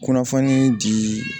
Kunnafoni di